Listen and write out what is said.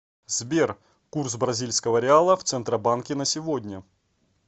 сбер курс бразильского реала в центробанке на сегодня